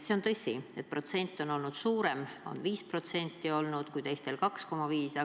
See on tõsi, et protsent on olnud suurem: tõus on 5% olnud, teistel 2,5%.